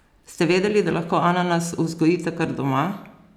Ste vedeli, da lahko ananas vzgojite kar doma?